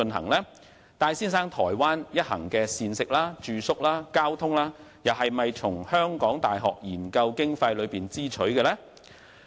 此外，戴先生台灣一行的膳食、住宿和交通費用，是否從港大研究經費中支取呢？